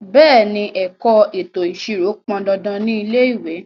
Bẹ̀ẹ́ni, ẹ̀kọ́ ètò ìṣirò pọn dandan ní ilé ìwé.